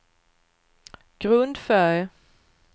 grundfärg